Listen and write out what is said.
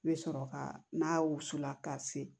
I bɛ sɔrɔ ka n'a wusula ka se